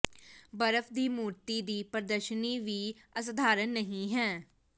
ਬਰਫ਼ ਦੀ ਮੂਰਤੀ ਦੀ ਪ੍ਰਦਰਸ਼ਨੀ ਵੀ ਅਸਧਾਰਨ ਨਹੀਂ ਹੈ